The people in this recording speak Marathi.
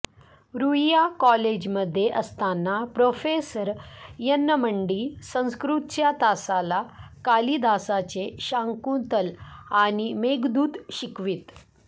रुईया कॉलेजमध्ये असताना प्रोफेसर येन्नमड्डी संस्कृतच्या तासाला कालिदासाचे शाकुंतल आणि मेघदूत शिकवित